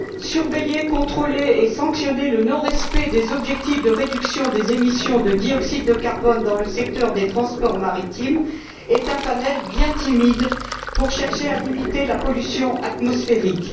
Surveiller, contrôler et sanctionner le non respect des objectifs de réduction des émissions de dioxyde de carbone dans le secteur des transports maritimes est un triptyque bien timide pour chercher à limiter la pollution atmosphérique.